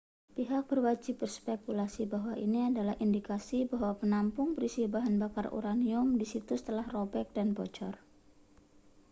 pihak berwajib berspekulasi bahwa ini adalah indikasi bahwa penampung berisi bahan bakar uranium di situs telah robek dan bocor